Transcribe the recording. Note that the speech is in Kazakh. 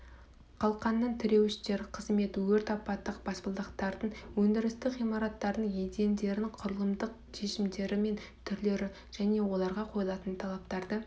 қалқандар тіреуіштер қызмет өрт апаттық баспалдақтардың өндірістік ғимараттардың едендерінің құрылымдық шешімдері мен түрлері және оларға қойылатын талаптарды